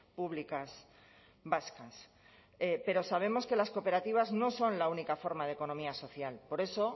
públicas vascas pero sabemos que las cooperativas no son la única forma de economía social por eso